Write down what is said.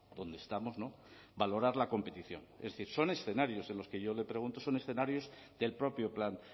donde estamos no valorar la competición es decir son escenarios en los que yo le pregunto son escenarios del propio plan